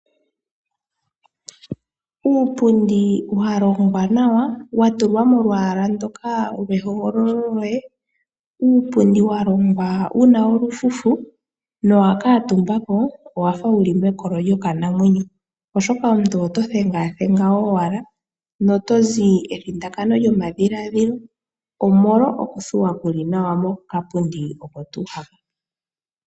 Uupundi walongwa nawa, wa tulwa molwaala ndoka lwehogololo lyoye, uupundi wa longwa wu na olufufu. Nowa kala ko omutumba owa fa wu li mekolo lyokanamwenyo, oshoka omuntu oto thengathenga owata no to zi evundakano lyomadhiladhilo, omolwa oku thuwapo nawa kokapundi oko tuu haka.